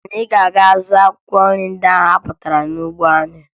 Anyị ga-aga zụọ akwụkwọ nri ndị ahụ anyị kpatara n'ugbo anyị